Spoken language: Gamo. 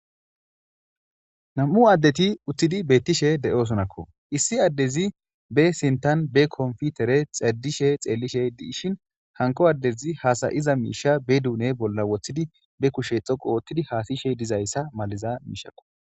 nam'u addeti uththidi beettishe de'osonakko issi addezi be sintan be konfitere xedishe xeellishe de'ishin hanko addezi haasayiza miisha be duune bolla woththidi be kushe dhoqu oothidi haasayishe dizayssa maliza miishakko